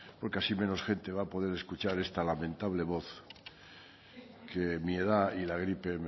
porque así menos gente va a poder escuchar esta lamentable voz que mi edad y la gripe